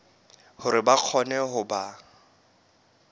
hore ba kgone ho ba